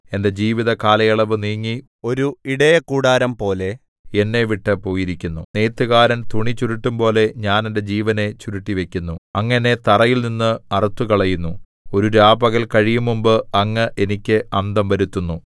എന്റെ ജീവിതകാലയളവു നീങ്ങി ഒരു ഇടയക്കൂടാരം പോലെ എന്നെവിട്ടു പോയിരിക്കുന്നു നെയ്ത്തുകാരൻ തുണി ചുരുട്ടുംപോലെ ഞാൻ എന്റെ ജീവനെ ചുരുട്ടിവയ്ക്കുന്നു അങ്ങ് എന്നെ തറിയിൽനിന്ന് അറുത്തുകളയുന്നു ഒരു രാപകൽ കഴിയുംമുമ്പ് അങ്ങ് എനിക്ക് അന്തം വരുത്തുന്നു